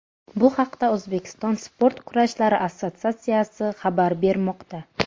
Bu haqda O‘zbekiston sport kurashlari assotsiatsiyasi xabar bermoqda .